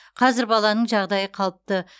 қазір баланың жағдайы қалыпты